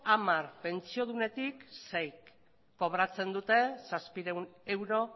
hamar pentsiodunetik seik kobratzen dute zazpiehun euro